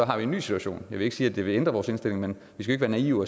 har vi en ny situation jeg vil ikke sige at det vil ændre vores indstilling men vi skal jo